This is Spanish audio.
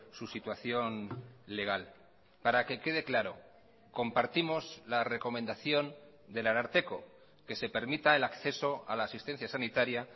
su situación legal para que quede claro compartimos la recomendación del ararteko que se permita el acceso a la asistencia sanitaria